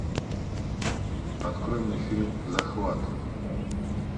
открой мне фильм захват